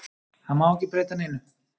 Það má ekki breyta neinu.